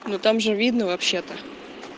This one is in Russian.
ну там же видно вообще-то